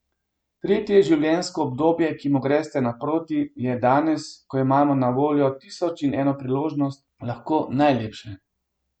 Tretje življenjsko obdobje, ki mu greste naproti, je danes, ko imamo na voljo tisoč in eno priložnost, lahko najlepše.